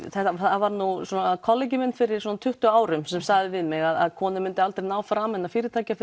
það var nú svo að kollegi minn fyrir tuttugu árum sagði við mig að konur myndu aldrei ná frama innan fyrirtækja